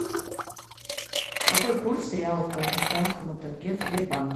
какой курс реала к казахстанскому тенге в сбербанке